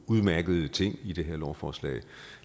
udmærkede ting i det her lovforslag og